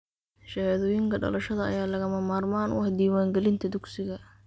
Shahaadooyinka dhalashada ayaa lagama maarmaan u ah diiwaangelinta dugsiga.